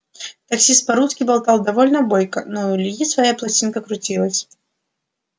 таксист по-русски болтал довольно бойко но у ильи своя пластинка крутилась